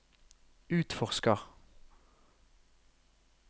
utforsker